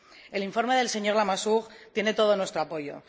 El informe del señor Lamassoure tiene todo nuestro apoyo.